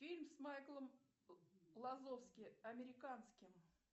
фильм с майклом лазовски американским